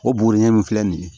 O bugurunin min filɛ nin ye